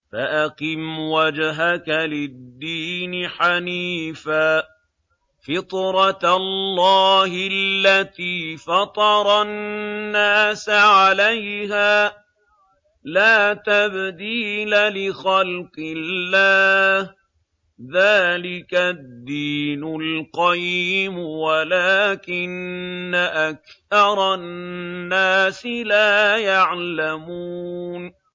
فَأَقِمْ وَجْهَكَ لِلدِّينِ حَنِيفًا ۚ فِطْرَتَ اللَّهِ الَّتِي فَطَرَ النَّاسَ عَلَيْهَا ۚ لَا تَبْدِيلَ لِخَلْقِ اللَّهِ ۚ ذَٰلِكَ الدِّينُ الْقَيِّمُ وَلَٰكِنَّ أَكْثَرَ النَّاسِ لَا يَعْلَمُونَ